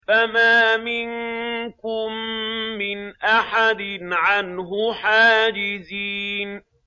فَمَا مِنكُم مِّنْ أَحَدٍ عَنْهُ حَاجِزِينَ